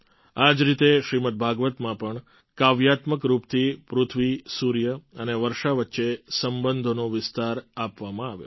આ જ રીતે શ્રીમદ્ ભાગવતમાં પણ કાવ્યાત્મક રૂપથી પૃથ્વી સૂર્ય અને વર્ષા વચ્ચે સંબંધોનો વિસ્તાર આપવામાં આવ્યો છે